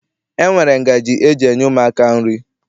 E nwere ngaji eji enye ụmụaka nri.